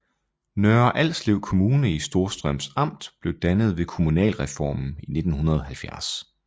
Nørre Alslev Kommune i Storstrøms Amt blev dannet ved kommunalreformen i 1970